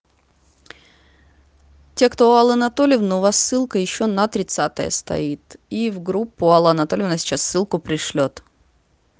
те кто аллы анатольевны у вас ссылка ещё на тридцатое стоит и в группу алла анатольевна сейчас ссылку пришлёт